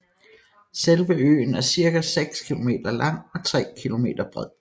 Selve øen er cirka 6 km lang og 3 km bred